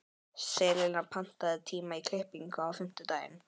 Selina, pantaðu tíma í klippingu á fimmtudaginn.